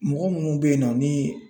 Mɔgɔ munnu beyinnɔ ni .